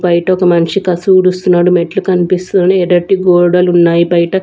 బయట ఒక మనిషి కాస్త ఊడుస్తున్నాడు మెట్లు కనిపిస్తున్నాయి ఎర్రటి గోడలు ఉన్నాయి బయట.